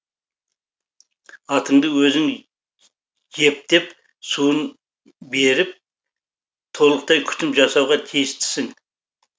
атыңды өзің жепдеп суын беріп толықтай күтім жасауға тиістісің